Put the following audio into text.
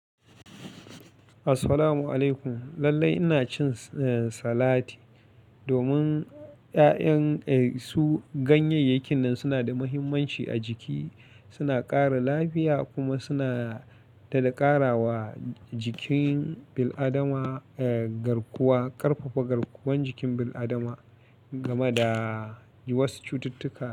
Assalamu alaikum. Lallai ina cin, eh, salati domin ƴa'ƴan, eh, su ganyayyakin nan suna da mahimmanci a jiki. Suna ƙara lafiya kuma suna tada ƙarawa jikin bil'adama, eh, garkuwa, ƙarfafa garkuwan jikin bil'adama. Gama da wasu cututtuka.